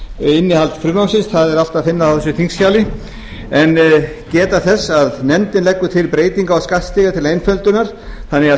innihald frumvarpsins það er allt að finna á þessu þingskjali en geta þess að nefndin leggur til breytingu á skattstiga til einföldunar þannig að